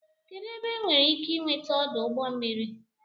kedụ ebe enwere ike ị nweta ọdụ ụgbọ mmiri